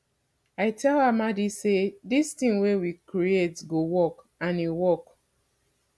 i tell amadi say dis thing wey we create go work and e work